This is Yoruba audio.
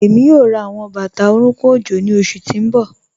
Ẹmi yoo rá awọn bata orúnkùn ojó ni oṣù tí n bọ.